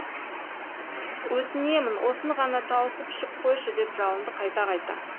өтінемін осыны ғана тауысып ішіп қойшы деп жалынды қайта қайта